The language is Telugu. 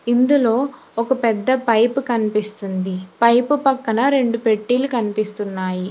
ఇందులో ఒక పెద్ద పైపు కనిపిస్తుంది పైపు పక్కన రెండు పెట్టీలు కనిపిస్తున్నాయి